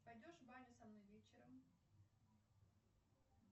пойдешь в баню со мной вечером